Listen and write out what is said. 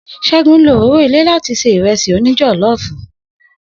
Segun lo òróró ilé láti ṣe Ìrẹ́sì òní jọ̀lọ́ọ̀fù